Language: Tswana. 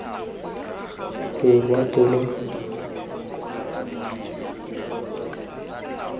lorato lwa motho lo lo